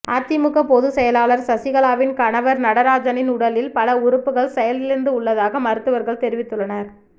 அதிமுக பொதுச் செயலாளர் சசிகலாவின் கணவர் நடராஜனின் உடலில் பல உறுப்புகள் செயலிழந்து உள்ளதாக மருத்துவர்கள் தெரிவித்துள்ளனர்